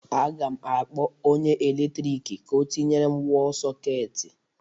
A ga m akpọ onye eletrik ka ọ tinyere m wọl sọketi